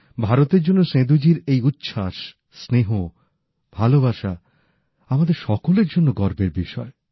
ভারতের জন্য সেঁদূজির এই উচ্ছ্বাস স্নেহ ভালোবাসা আমাদের সকলের জন্য গর্বের বিষয়